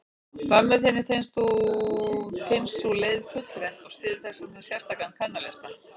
Mömmu þinni finnst sú leið fullreynd, og styður þessvegna sérstakan kvennalista.